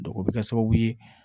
o bɛ kɛ sababu ye